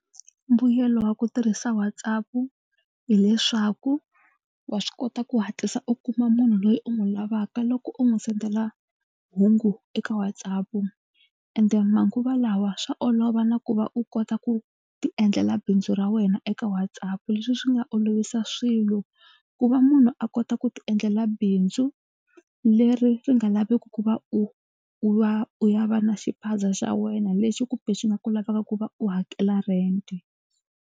Mbuyelo wa ku tirhisa WhatsApp hileswaku wa swi kota ku hatlisa u kuma munhu loyi u n'wi lavaka loko u n'wi sendela hungu eka WhatsApp ende manguva lawa swa olova na ku va u kota ku tiendlela bindzu ra wena eka WhatsApp. Leswi swi nga olovisa swilo ku va munhu a kota ku tiendlela bindzu leri ri nga laveki ku va u u va u ya va na xiphaza xa wena lexi kumbe xi nga ku laveka ku va u hakela rent.